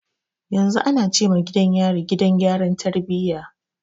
Yanzu ana ce ma gidan yari, Gidan gyara tarbiyya.